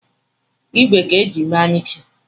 ìgwè ka e jiri mee anyuike